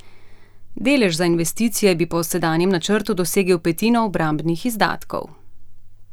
Delež za investicije bi po sedanjem načrtu dosegel petino obrambnih izdatkov.